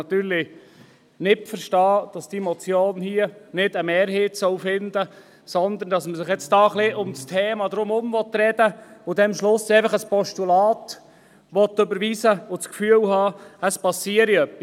Natürlich kann ich nicht verstehen, dass diese Motion hier keine Mehrheit finden soll, sondern dass man um das Thema herumreden und am Schluss ein Postulat überweisen will, dabei aber das Gefühl hat, es passiere dann etwas.